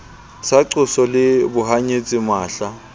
sa qoso le bohanyetsi mahla